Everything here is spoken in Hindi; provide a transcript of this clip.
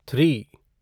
थ्री